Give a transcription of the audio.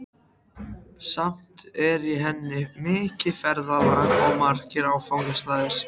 Samt er í henni mikið ferðalag og margir áfangastaðir.